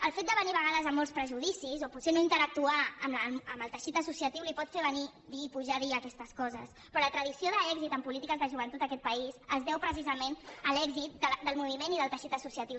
el fet de venir a vegades amb molts prejudicis o potser no interactuar amb el teixit associatiu el pot fer venir i pujar a dir aquestes coses però la tradició d’èxit en polítiques de joventut en aquest país es deu precisament a l’èxit del moviment i del teixit associatiu